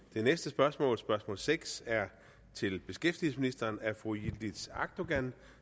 det næste spørgsmål spørgsmål seks er til beskæftigelsesministeren af fru yildiz akdogan